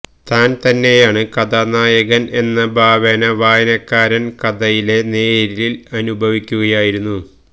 താന് തന്നെയാണ് കഥാനായകന് എന്ന ഭാവേന വായനക്കാരന് കഥയെ നേരില് അനുഭവിക്കുകയാണ്